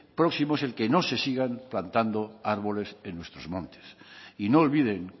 próximo es el que no se sigan plantando árboles en nuestros montes y no olviden